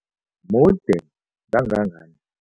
Mude kangangani?